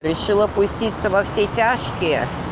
весело пуститься во все тяжкие